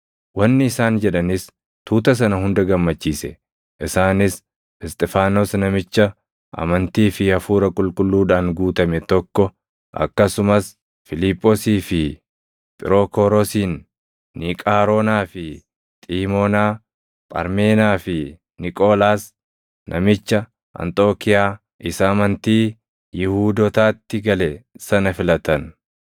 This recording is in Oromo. Wanni isaan jedhanis tuuta sana hunda gammachiise. Isaanis Isxifaanos namicha amantii fi Hafuura Qulqulluudhaan guutame tokko, akkasumas Fiiliphoosii fi Phirookoroosin, Niiqaaroonaa fi Xiimoonaa, Pharmeenaa fi Niqoolaas namicha Anxookiiyaa isa amantii Yihuudootaatti gale sana filatan.